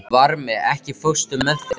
Vitið þið eitthvað hver kveikti í?